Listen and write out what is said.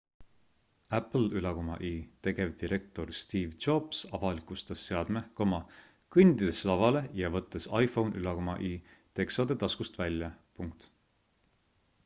apple'i tegevdirektor steve jobs avalikustas seadme kõndides lavale ja võttes iphone'i teksade taskust välja